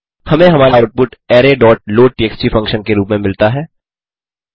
हमें हमारा output array dot loadtxt function के रूप में मिलता है